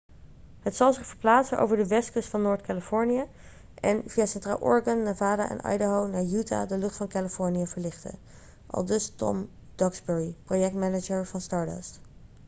'het zal zich verplaatsen over de westkust van noord-californië en via centraal oregon nevada en idaho naar utah de lucht van californië verlichten,' aldus tom duxbury projectmanager van stardust